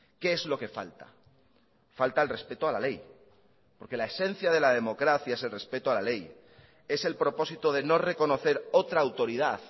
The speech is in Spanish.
qué es lo que falta falta el respeto a la ley porque la esencia de la democracia es el respeto a la ley es el propósito de no reconocer otra autoridad